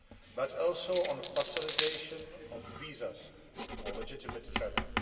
but also on facilitation of visas for legitimate travel.